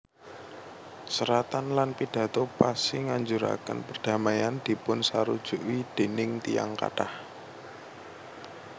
Seratan lan pidato Passy nganjuraken perdamaian dipunsarujuki déning tiyang kathah